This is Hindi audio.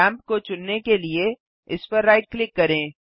लैम्प को चुनने के लिए इसपर राइट क्लिक करें